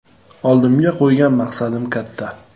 Oldimga qo‘ygan maqsadim katta.